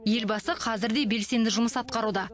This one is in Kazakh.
елбасы қазір де белсенді жұмыс атқаруда